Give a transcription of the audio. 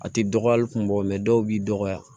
A tɛ dɔgɔya hali kun bɔ mɛ dɔw b'i dɔgɔya